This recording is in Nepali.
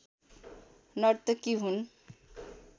नर्तकी हुन्